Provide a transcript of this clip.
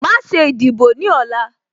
Má ṣe ìdìbò ní ọ̀la